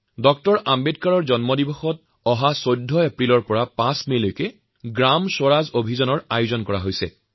ড০ আম্বেদকাৰৰ জন্মজয়ন্তীক লৈ ১৪ এপ্ৰিলৰ পৰা ৫মেলৈ সমগ্ৰ দেশতে গ্ৰাম স্বৰাজ অভিযানৰ আয়োজন কৰা হৈছে